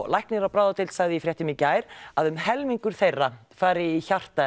læknir á bráðadeild sagði í fréttum í gær að um helmingur þeirra fari í hjarta